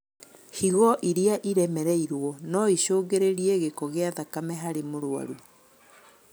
Higo irĩa iremereirwo noicũngĩrĩrie gĩko gia thakame harĩ mũrwaru